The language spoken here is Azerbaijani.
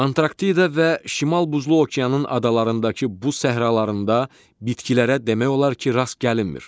Antarktida və şimal buzlu okeanın adalarındakı buz səhralarında bitkilərə demək olar ki, rast gəlinmir.